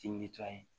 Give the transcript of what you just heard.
Ti